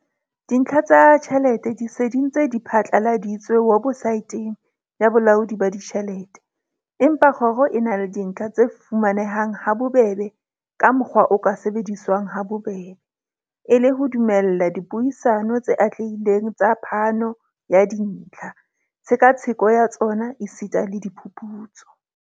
Dintlha tsa tjhelete di se di ntse di phatlaladitswe webosaeteng ya Bolaodi ba Ditjhelete, empa kgoro e na le dintlha tse fuma nehang habobebe ka mokgwa o ka sebediswang habobebe, e le ho dumella dipuisano tse atlehileng tsa phano ya dintlha, tshekatsheko ya tsona esita le diphuputso.